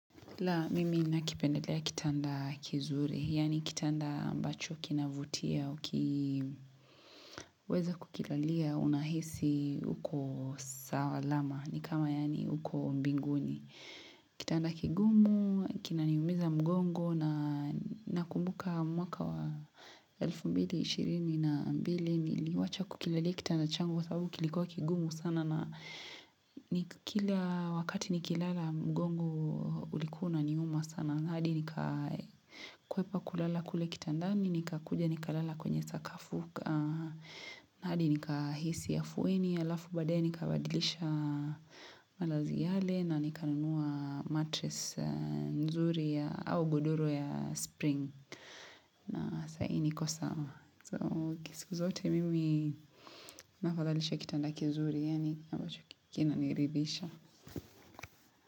La, mimi nakipendelea kitanda kizuri, yaani kitanda ambacho kinavutia ukiweza kukilalia, unahisi uko sawa lama, ni kama yaani uko mbinguni. Kitanda kigumu, kinaniumiza mgongo na nakumbuka mwaka wa elfu mbili ishirini na mbili niliwacha kukilalia kitanda changu, sababu kilikuwa kigumu sana na kila wakati nikilala mgongo ulikuwa uniuma sana. Hadi nika kuhepa kulala kule kitandani nikakuja nikalala kwenye sakafu hadi nikahisi afueni halafu badae nikabadilisha malazi yale na nikanunua matress nzuri ya au godoro ya spring na sahii niko sawa so siku zote mimi, nafadhalisha kitanda kizuri yani ambacho kinaniridhisha.